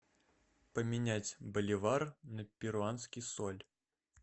поменять боливар на перуанский соль